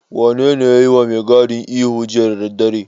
Wanene ya yiwa mai gadin ihu jiya da daddare?